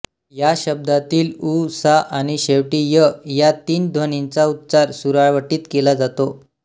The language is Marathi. या शब्दातील ऊ सा आणि शेवटी य या तीन ध्वनींचा उच्चार सुरावटीत केला जातो